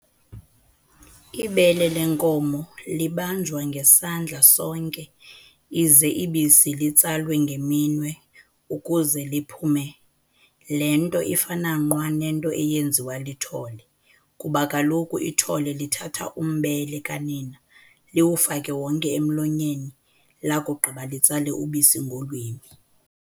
Ibele lenkomo libanjwa ngesandla sonke ize ibisi litsalwe ngeminwe ukuze liphume, le nto ifana nqwa nento eyenziwa lithole kuba kaloku ithole lithatha umbele kanina liwufake wonke emlonyeni lakugqiba litsale ubisi ngolwimi.